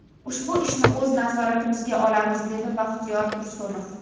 Ushbu ishni o‘z nazoratimizga olganmiz”, dedi Baxtiyor Tursunov.